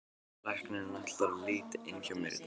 Læknirinn ætlar að líta inn hjá mér í dag.